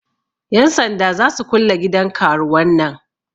Yan sanda za su kulle gidan karuwan nan.